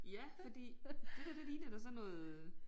Ja fordi det der det ligner da sådan noget øh